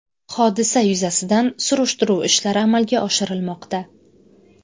Hodisa yuzasidan surishtiruv ishlari amalga oshirilmoqda.